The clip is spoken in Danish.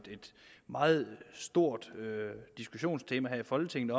meget stort diskussionstema her i folketinget